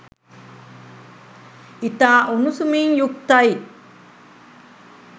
ඉතා උණුසුමින් යුක්තයි.